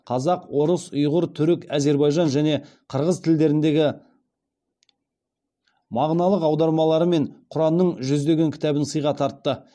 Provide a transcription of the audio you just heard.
қазақ орыс ұйғыр түрік әзербайжан және қырғыз тілдеріндегі мағыналық аудармаларымен құранның жүздеген кітабын сыйға тартты